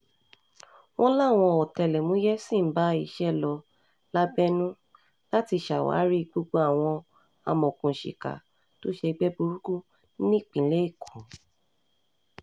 wọ́n láwọn ọ̀tẹlẹ̀múyẹ́ sì ń bá iṣẹ́ lọ lábẹ́nú láti ṣàwárí gbogbo àwọn amọ̀òkùnsíkà tó ṣègbè burúkú nípínlẹ̀ èkó